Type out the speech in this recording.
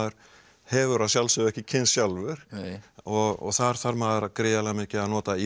hefur að sjálfsögðu ekki kynnst sjálfur þar þarf maður gríðarlega mikið að nota